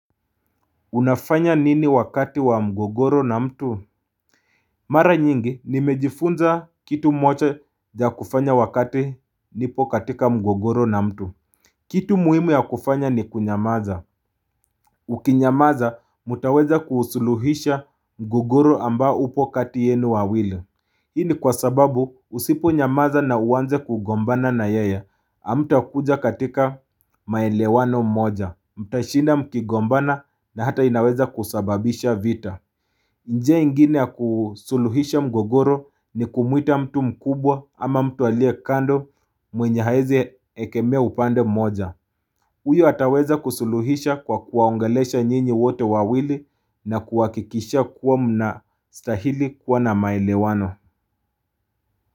Unafanya nini wakati wa mgogoro na mtu Mara nyingi nimejifunza kitu moja ya kufanya wakati nipo katika mgogoro na mtu kitu muhimu ya kufanya ni kunyamaza Ukinyamaza mutaweza kusuluhisha mgogoro amba upo katienu wawili Hini kwa sababu usiponyamaza na uwanze kugombana na yaya amta kuja katika maelewano mmoja Mtashina mkigombana na hata inaweza kusababisha vita nje ingine akusuluhisha mgogoro ni kumuita mtu mkubwa ama mtu alie kando mwenye haezi ekemea upande mmoja Uyo ataweza kusuluhisha kwa kuwaongelesha nyinyi wote wawili na kuwakikisha kuwa mna stahili kuwa na maelewano.